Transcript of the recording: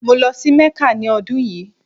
Mo lọ sí Mecca ni ọ́dun yíì.